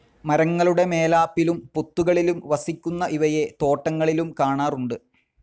മരങ്ങളുടെ മേലാപ്പിലും പൊത്തുകളിലും വസിക്കുന്ന ഇവയെ തോട്ടങ്ങളിലും കാണാറുണ്ട്.